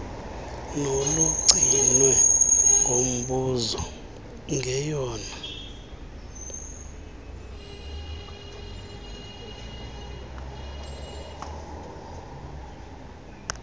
nolugcinwe ngumbuso ngeyona